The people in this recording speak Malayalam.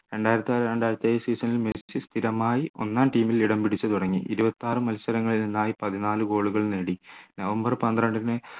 രണ്ടായിരത്തിയാറ്‌ രണ്ടായിരത്തിയേഴ് season ൽ മെസ്സി സ്ഥിരമായി ഒന്നാം team ൽ ഇടംപിടിച്ചു തുടങ്ങി ഇരുപത്തിയാറ് മത്സരങ്ങളിൽ നിന്നായി പതിനാല് goal കൾ നേടി നവംബർ പന്ത്രണ്ടിന്